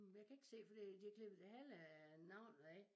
Jeg kan ikke se for de har klippet det halve af navnet af